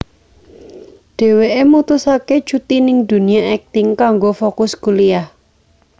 Dheweké mutusaké cuti ning dunya akting kanggo fokus kuliyah